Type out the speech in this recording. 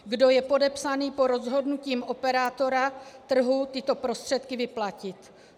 Kdo je podepsaný po rozhodnutím operátora trhu tyto prostředky vyplatit.